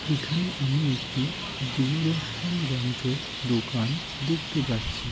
এখানে আমি একটি দূরদর্শন যন্ত্রের দোকান দেখতে পাচ্ছি।